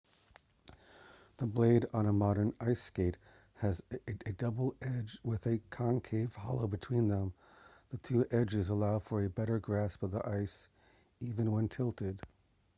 the blade on a modern ice skate has a double edge with a concave hollow between them the two edges allow for a better grasp of the ice even when tilted